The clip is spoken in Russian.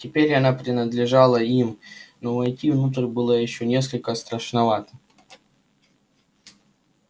теперь она принадлежала им но войти внутрь было ещё несколько страшновато